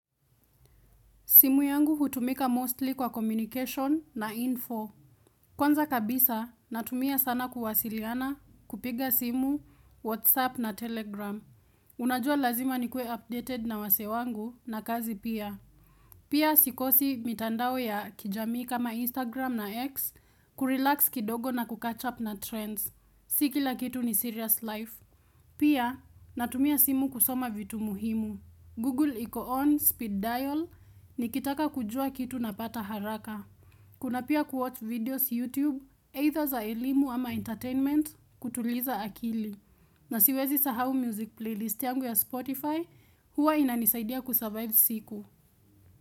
Simu yangu hutumika mostly kwa communication na info. Kwanza kabisa, natumia sana kuwasiliana, kupiga simu, Whatsapp na Telegram. Unajua lazima nikuwe updated na wasee wangu na kazi pia. Pia sikosi mitandao ya kijamii kama Instagram na X kurelax kidogo na kucatch up na trends. Si kila kitu ni serious life. Pia, natumia simu kusoma vitu muhimu. Google iko on Speed Dial nikitaka kujua kitu napata haraka. Kuna pia kuwatch videos YouTube, either za elimu ama entertainment, kutuliza akili. Na siwezi sahau music playlist yangu ya Spotify, huwa inanisaidia kusurvive siku.